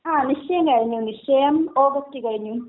ങാ, നിശ്ചയം കഴിഞ്ഞു, നിശ്ചയം ഓഗസ്റ്റിൽ കഴിഞ്ഞു.